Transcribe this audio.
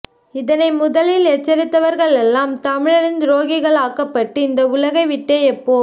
இதனை முதலில் எச்சரித்தவ்ர்களெல்லாம் தமிழரின் துரோகிகளாக்கப்பட்டு இந்த உலகை விட்டே எப்போ